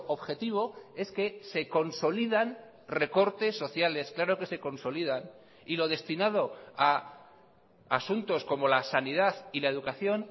objetivo es que se consolidan recortes sociales claro que se consolidan y lo destinado a asuntos como la sanidad y la educación